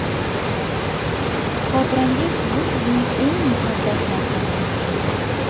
Xotirangiz bu sizning eng muqaddas narsangiz.